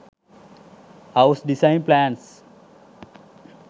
house design plans